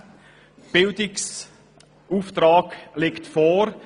Der Bildungsauftrag liegt vor.